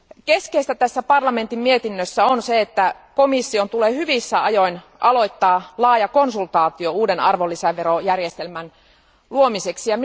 Keskeistä tässä parlamentin mietinnössä on se, että komission tulee hyvissä ajoin aloittaa laaja konsultaatio uuden arvonlisäverojärjestelmän luomiseksi.